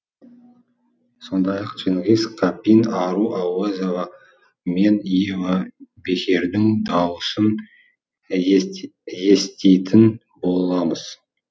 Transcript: сондай ақ чингиз капин ару ауэзова мен ева бехердің даусын еститін боламыз